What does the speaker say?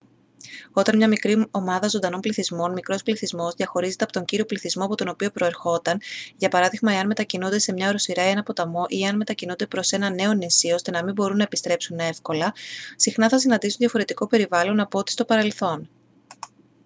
όταν μια μικρή ομάδα ζωντανών οργανισμών μικρός πληθυσμός διαχωρίζεται από τον κύριο πληθυσμό από τον οποίο προερχόταν για παράδειγμα εάν μετακινούνται σε μια οροσειρά ή έναν ποταμό ή εάν μετακινούνται προς ένα νέο νησί ώστε να μην μπορούν να επιστρέψουν εύκολα συχνά θα συναντήσουν διαφορετικό περιβάλλον από ότι στο παρελθόν